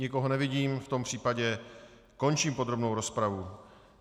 Nikoho nevidím, v tom případě končím podrobnou rozpravu.